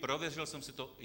Prověřil jsem si to.